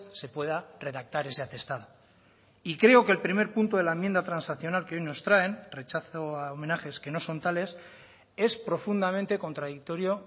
se pueda redactar ese atestado y creo que el primer punto de la enmienda transaccional que hoy nos traen rechazo a homenajes que no son tales es profundamente contradictorio